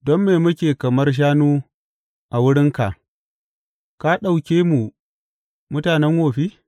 Don me muke kamar shanu a wurinka, ka ɗauke mu mutanen wofi?